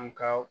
An ka